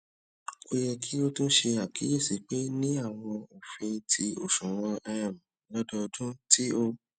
o yẹ ki o tun ṣe akiyesi pe ni awọn ofin ti oṣuwọn um lododun ti o